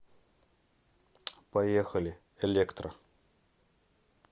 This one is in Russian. поехали электра